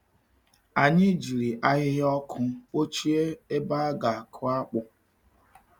Anyị jiri ahịhịa ọkụ kpọchie ebe a ga-akụ akpụ.